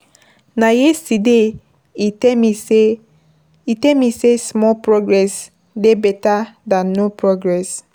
Na yesterday e tell me sey,e tell me small progress dey beta dan no progress.